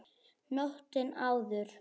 Nóttina áður!